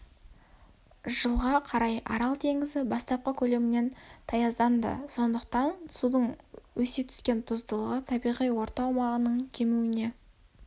жылға қарай арал теңізі бастапқы көлемінен ге дейін таязданды сондықтан судың өсе түскен тұздылығы табиғи орта аумағының кемуіне